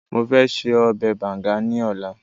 mo fẹ se obe banga ni ọlá